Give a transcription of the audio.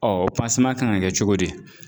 Ɔ o kan ka kɛ cogo di